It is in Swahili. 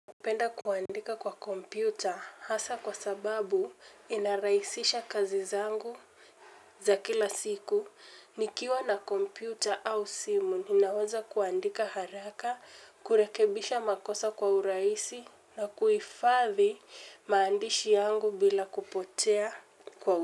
Napenda kuandika kwa kompyuta hasa kwa sababu inarahisisha kazi zangu za kila siku, nikiwa na kompyuta au simu ninaweza kuandika haraka, kurekebisha makosa kwa urahisi na kuifadhi maandishi yangu bila kupotea kwa urahisi.